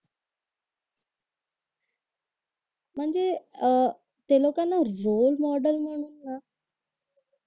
म्हणजे अह त्या लोकांना रोल मॉडेल म्हणून ना